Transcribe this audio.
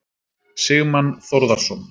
Sigmann Þórðarson.